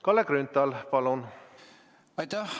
Kalle Grünthal, palun!